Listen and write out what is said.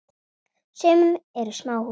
Á sumum eru smáhús.